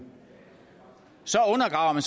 og